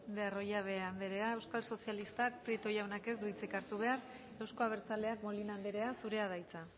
de arroyabe andrea euskal sozialistak prieto jaunak ez du hartu behar euzko abertzaleak molina andrea zurea da hitza